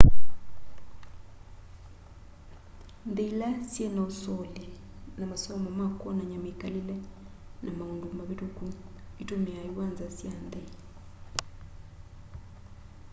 nthĩ ĩla syĩna ũsolĩ na masomo ma kwonany'a mĩkalĩle namaũndũ mavĩtũkũ ĩtũmĩaa ĩwanza sya nthĩ